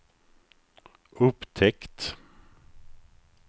upptäckt